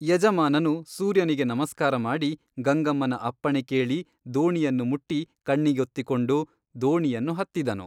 ಯಜಮಾನನು ಸೂರ್ಯನಿಗೆ ನಮಸ್ಕಾರ ಮಾಡಿ ಗಂಗಮ್ಮನ ಅಪ್ಪಣೆ ಕೇಳಿ ದೋಣಿಯನ್ನು ಮುಟ್ಟಿ ಕಣ್ಣಿಗೊತ್ತಿಕೊಂಡು ದೋಣಿಯನ್ನು ಹತ್ತಿದನು.